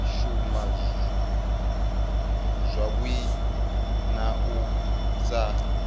shuma zwavhui na u sa